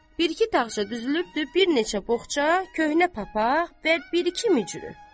Bir-iki dağarcıq düzülübdür, bir neçə boğça, köhnə papaq və bir-iki mütürü.